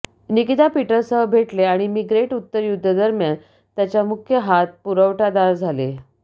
Nikita Peter सह भेटले आणि मी ग्रेट उत्तर युद्ध दरम्यान त्याच्या मुख्य हात पुरवठादार झाले